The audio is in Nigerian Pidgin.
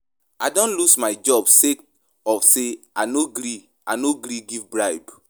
I don loose my job sake of sey I no gree I no gree give bribe.